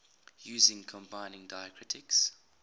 using combining diacritics